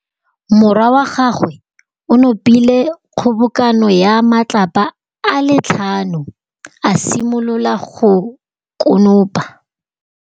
Morwa wa gagwe o nopile kgobokanô ya matlapa a le tlhano, a simolola go konopa.